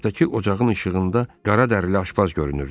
Mətbəxdəki ocağın işığında qara dərili aşbaz görünürdü.